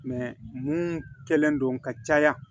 mun kɛlen don ka caya